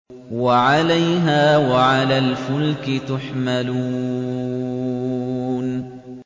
وَعَلَيْهَا وَعَلَى الْفُلْكِ تُحْمَلُونَ